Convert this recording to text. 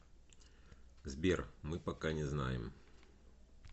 сбер мы пока не знаем